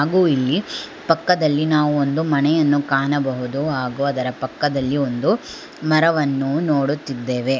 ಗು ಇಲ್ಲಿ ಪಕ್ಕದಲ್ಲಿ ನಾವು ಒಂದು ಮನೆಯನ್ನು ಕಾಣಬಹುದು ಹಾಗೂ ಅದರ ಪಕ್ಕದಲ್ಲಿ ಒಂದು ಮರವನ್ನು ನೋಡುತ್ತಿದ್ದೇವೆ.